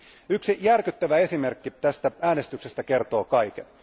Yksi järkyttävä esimerkki tästä äänestyksestä kertoo kaiken.